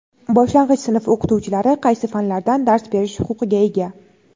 Boshlang‘ich sinf o‘qituvchilari qaysi fanlardan dars berish huquqiga ega?.